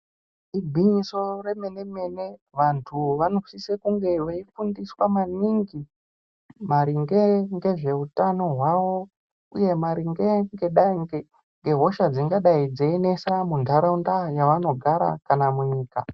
Igwinyiso remene-mene, vantu vanosise kunge veifundiswa maningi, maringe ngezveutano hwavo, uye maringe ngedai ngengehosha dzingadai dzeinesa muntaraunda yavanogara kana munyika.